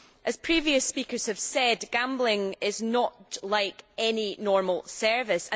As previous speakers have said, gambling is not like any normal service.